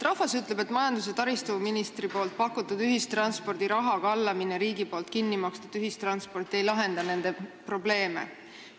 Rahvas ütleb, et majandus- ja taristuministri pakutud plaan, riigi raha kallamine ühistransporti ja pileti kinni maksmine ei lahenda nende probleeme.